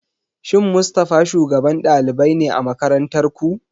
Shin Mustafa shugaban ɗalibai ne a makarantar ku?